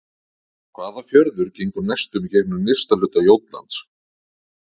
Hvaða fjörður gengur næstum í gegnum nyrsta hluta Jótlands?